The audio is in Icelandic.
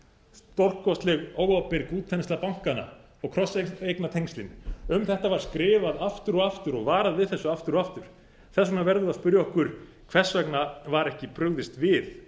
stórkostleg óábyrg útþensla bankanna og krosseignatengslin um þetta var skrifað aftur og aftur og varað við þessu aftur og aftur þess vegna verðum við að spyrja okkur hvers vegna var ekki brugðist við